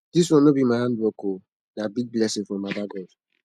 dis one no be my hard work o na big blessing from baba god